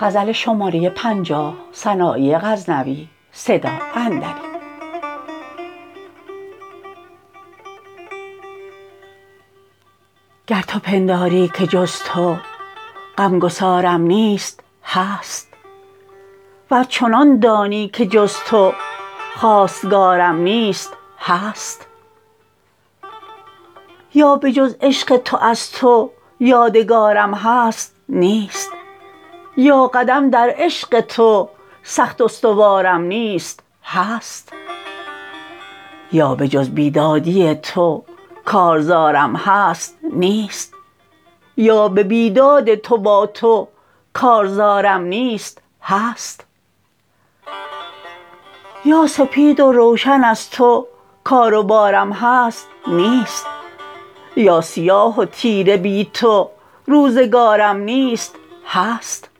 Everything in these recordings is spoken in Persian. گر تو پنداری که جز تو غم گسار م نیست هست ور چنان دانی که جز تو خواستگار م نیست هست یا به جز عشق تو از تو یادگار م هست نیست یا قدم در عشق تو سخت استوار م نیست هست یا به جز بیدادی تو کارزار م هست نیست یا به بیداد تو با تو کارزار م نیست هست یا سپید و روشن از تو کار و بارم هست نیست یا سیاه و تیره بی تو روزگار م نیست هست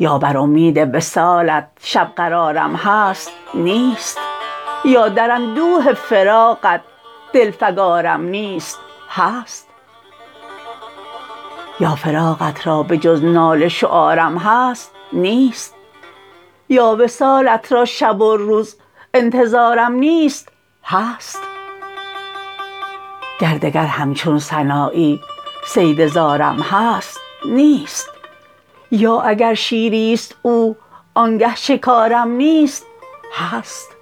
یا بر امید وصالت شب قرارم هست نیست یا در اندوه فراقت دل فگارم نیست هست یا فراقت را به جز ناله شعار م هست نیست یا وصالت را شب و روز انتظار م نیست هست گر دگر همچون سنایی صید زارم هست نیست یا اگر شیر ی ست او آنگه شکار م نیست هست